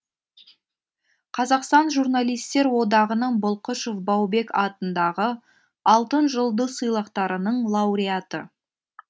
қазақстан журналистер одағының бұлқышев баубек атындағы алтын жұлдыз сыйлықтарының лауреаты